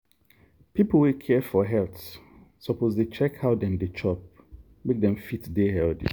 people wey care for health suppose dey check how dem dey chop make dem fit dey healthy.